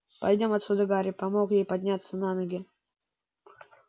пойдём отсюда гарри помог ей подняться на ноги